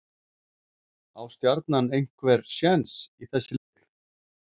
Á Stjarnan einhver séns í þessi lið?